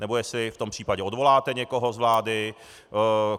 Anebo jestli v tom případě odvoláte někoho z vlády.